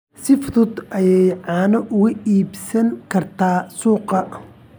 Si fudud ayaad caano uga iibsan kartaa suuqa.